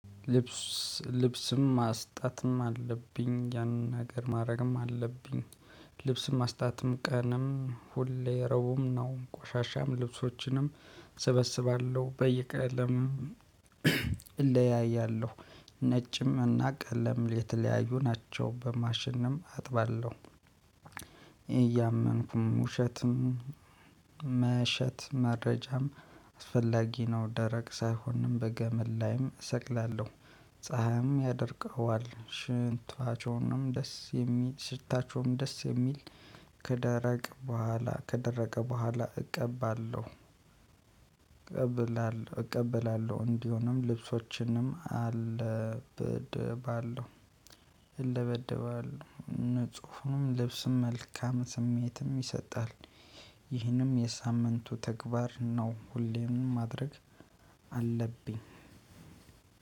ልብስ ልብስም ማስጣትም አለብኝ ያንን ነገር ማድረግም አለብኝ። ልብስም ማስጣትም ቀንም ሁሌ ረቡም ነው ቆሻሻም ልብሶችንም እሰበስባለሁ በየቀለም። እለያያለሁ። ነጭም እና ቀለም የተለያዩ ናቸው በማሽንም አጥባለሁ። እያመንኩም ውሸትም መሸት መረጃም አስፈላጊ ነው። ደረቅ ሳይሆንም በገመል ላይም እሰቅላለሁ። ፀሀይም ያደርቀዋል ሽንታቸውንም ደስ የሚል ሽታቸውም ደስ የሚል። ከደረቅ በኋላ ከደረቀ በኋላ እቀባለሁ። እቀብላለሁ እቀበላለሁ እንዲሆንም ልብሶችንም አለበደባለሁ እለበደባለሁ ንጹህም ልብስም መልካም ስሜትም ይሰጣል። ይህንም የሳምንቱ ተግባር ነው። ሁሌም ማድረግ አለብኝ።